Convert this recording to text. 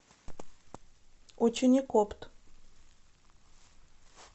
ученикопт